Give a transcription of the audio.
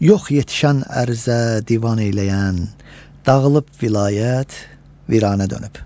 Yox yetişən ərizə divan eyləyən, dağılıb vilayət, viranə dönüb.